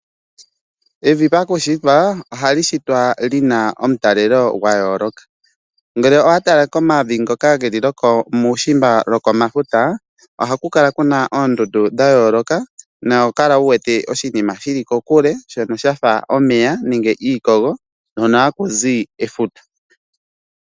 Evi pakushitwa ohali shitwa lina omutalelo gwa yooloka. Ngele owatala komavi ngoka geli wu uka lwokuushimba kefuta ohakukala kuna oondundu dha yooloka no ohokala wu wete oshinima shili kokule shono shafa omeya nenge iikogo hono hakuzu efuta.